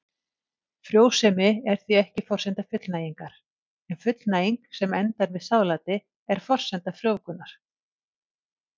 Frjósemi er því ekki forsenda fullnægingar en fullnæging sem endar með sáðláti er forsenda frjóvgunar.